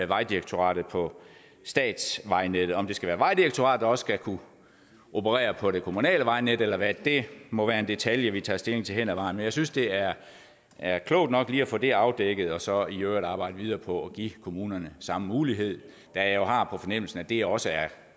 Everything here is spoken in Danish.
vejdirektoratet på statsvejnettet om det skal være vejdirektoratet der også skal kunne operere på det kommunale vejnet eller hvad må være en detalje vi tager stilling til hen ad vejen men jeg synes det er er klogt nok lige at få det afdækket og så i øvrigt arbejde videre på at give kommunerne samme mulighed da jeg har på fornemmelsen at det her også er